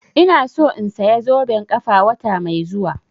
Ina so in saya zoben ƙafa wata mai zuwa